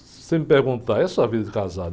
Você me perguntar, e a sua vida de casada?